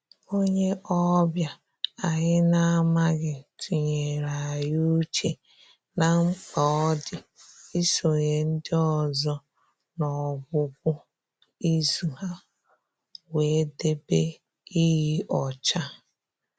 Onye ọbịa anyị na-amaghị tụnyere anyị uche na mkpa ọ dị isonye ndị ọzọ n'ọgwụgwụ izu a wee debe iyi ọcha